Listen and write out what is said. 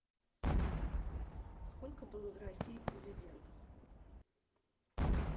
сколько было в россии президентов